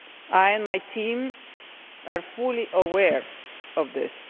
I and my team are fully aware of this.